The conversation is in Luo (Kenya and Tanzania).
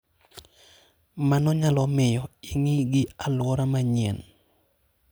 Mano nyalo miyo ing'i gi alwora manyien.